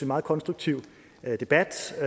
meget konstruktiv debat og